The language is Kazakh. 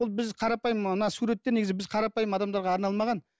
ол біз қарапайым мына суреттер негізі біз қарапайым адамдарға арналмаған